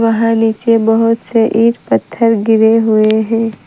वहां नीचे बहुत से ईंट पत्थर गिरे हुए हैं।